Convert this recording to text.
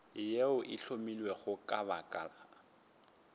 yeo e hlomilwego ka lebaka